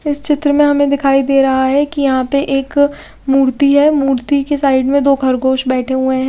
इस चित्र में हमें दिखाई दे रहा है कि यहां पे एक मूर्ति है मूर्ति के साइड में दो खरगोश बैठे हुए हैं।